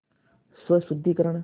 स्वशुद्धिकरण